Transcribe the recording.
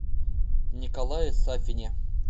николае сафине